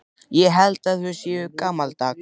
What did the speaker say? Ég held að þau séu gamaldags.